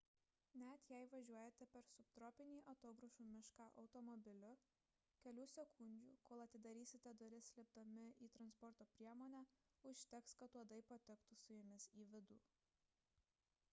net jei važiuojate per subtropinį atogrąžų mišką automobiliu kelių sekundžių kol atidarysite duris lipdami į transporto priemonę užteks kad uodai patektų su jumis į vidų